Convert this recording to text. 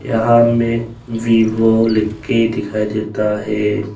यहां में वीवो लिख के दिखाई देता है।